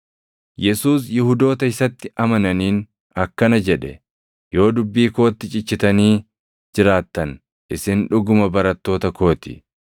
Yesuus Yihuudoota isatti amananiin akkana jedhe; “Yoo dubbii kootti cichitanii jiraattan isin dhuguma barattoota koo ti.